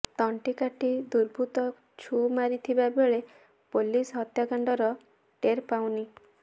ତଣ୍ଟି କାଟି ଦୁର୍ବୃତ୍ତ ଛୁ ମାରିଥିବା ବେଳେ ପୋଲିସ ହତ୍ୟାକାଣ୍ଡର ଟେର୍ ପାଉନି